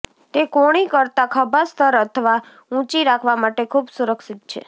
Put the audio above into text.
તે કોણી કરતાં ખભા સ્તર અથવા ઊંચી રાખવા માટે ખૂબ સુરક્ષિત છે